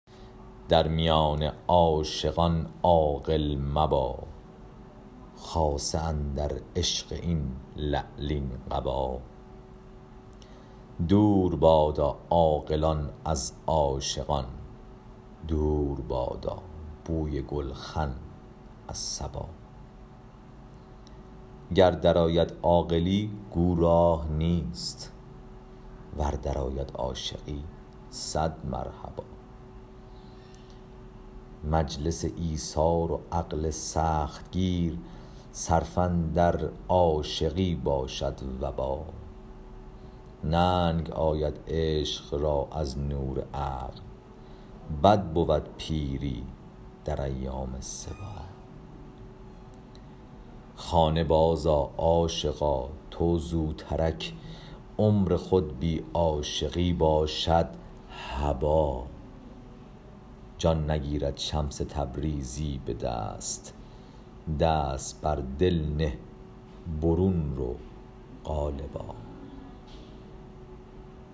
در میان عاشقان عاقل مبا خاصه اندر عشق این لعلین قبا دور بادا عاقلان از عاشقان دور بادا بوی گلخن از صبا گر درآید عاقلی گو راه نیست ور درآید عاشقی صد مرحبا مجلس ایثار و عقل سخت گیر صرفه اندر عاشقی باشد وبا ننگ آید عشق را از نور عقل بد بود پیری در ایام صبا خانه بازآ عاشقا تو زوترک عمر خود بی عاشقی باشد هبا جان نگیرد شمس تبریزی به دست دست بر دل نه برون رو قالبا